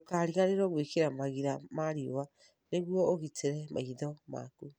Ndũkariganĩrũo gwĩkĩra magira ma riũa nĩguo ũgitĩre maitho maku.